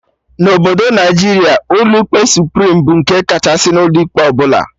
Na Obodo Naijiria, ụlọ ikpe Suprim bụ nke kachasị n'ụlọ ikpe ọbụla